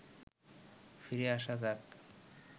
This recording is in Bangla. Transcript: ফিরে আসা যাক